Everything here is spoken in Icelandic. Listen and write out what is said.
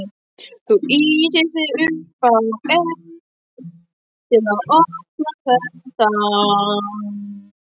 Þú ýtir upp á eitt. til að opna þetta.